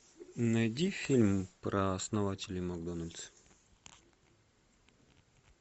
найди фильм про основателя макдональдс